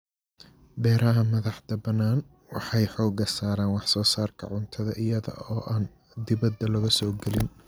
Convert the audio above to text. Beeraha madax-bannaani waxay xoogga saaraan wax-soo-saarka cuntada iyada oo aan dibadda laga soo gelin.